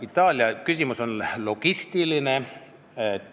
Itaalia küsimus on logistiline.